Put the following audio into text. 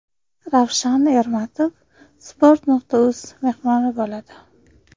Ravshan Ermatov Sports.uz mehmoni bo‘ladi.